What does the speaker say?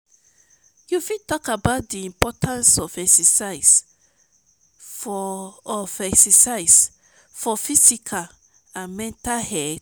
you fit talk about di importance of exercise for of exercise for physical and mental health?